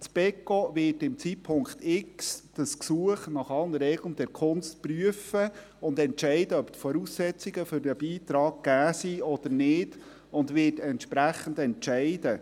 Das Beco wird zum Zeitpunkt X dieses Gesuch nach allen Regeln der Kunst prüfen und beurteilen, ob die Voraussetzungen für einen Beitrag gegeben sind oder nicht, und wird dann entsprechend entscheiden.